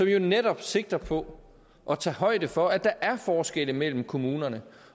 jo netop sigter på at tage højde for at der er forskelle mellem kommunerne